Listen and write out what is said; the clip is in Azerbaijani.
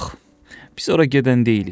Yox, biz ora gedən deyilik.